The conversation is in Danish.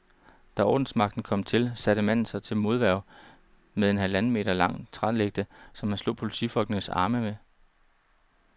Da ordensmagten kom til, satte manden sig til modværge med en halvanden meter lang trælægte, som han slog politifolkenes arme med.